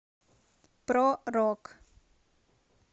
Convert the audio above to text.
про рок